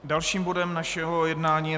Dalším bodem našeho jednání je